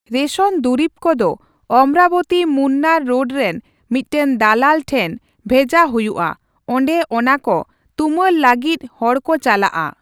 Ration ᱫᱩᱨᱤᱵ ᱠᱚᱫᱚ ᱚᱢᱨᱟᱵᱚᱛᱤᱼᱢᱩᱱᱱᱟᱨ ᱨᱳᱰ ᱨᱮᱱ ᱢᱤᱫᱴᱟᱝ ᱫᱟᱞᱟᱞ ᱴᱷᱮᱱ ᱵᱷᱮᱡᱟ ᱦᱩᱭᱩᱜᱼᱟ ᱚᱸᱰᱮ ᱚᱱᱟ ᱠᱚ ᱛᱩᱢᱟᱹᱞ ᱞᱟᱹᱜᱤᱫ ᱦᱚᱲ ᱠᱚ ᱪᱟᱞᱟᱜᱼᱟ ᱾